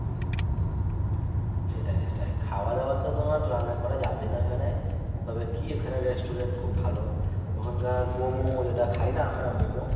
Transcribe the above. সেটাই সেটাই খাওয়া দাওয়া তোমার রান্না করা যাবে না ওইখানে তবে কি ওইখানে restaurant খুব ভালো ওখানকার মোম ঐ যেটা খাই না আমরা মোমো